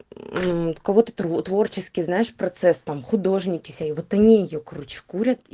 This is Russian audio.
ну вот кого ты творческий знаешь процесс там художники сё вот они её короче курят и